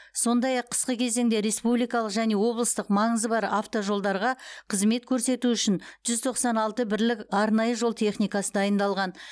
сондай ақ қысқы кезеңде республикалық және облыстық маңызы бар автожолдарға қызмет көрсету үшін жүз тоқсан алты бірлік арнайы жол техникасы дайындалған